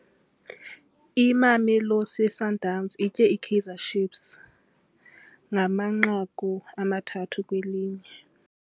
Imamelosi Sundowns itye iKaizer Chiefs ngamanqaku amathathu kwelinye.